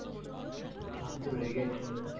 আপনি তো রেগে যাচ্ছেন madam।